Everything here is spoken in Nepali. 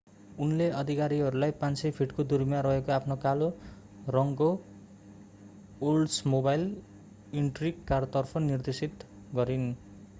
उनले अधिकारीहरूलाई 500 फिटको दुरीमा रहेको आफ्नो कालो रङकोओल्ड्समोबाइल इन्ट्रिग कारतर्फ निर्देशित गरिन्